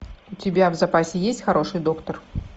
у тебя в запасе есть хороший доктор